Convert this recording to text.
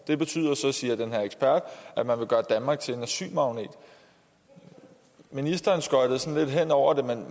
det betyder så siger den her ekspert at man vil gøre danmark til en asylmagnet ministeren skøjtede sådan lidt hen over det men